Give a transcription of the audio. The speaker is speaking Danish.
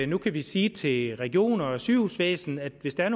nu kan vi sige til regioner og sygehusvæsen at hvis der er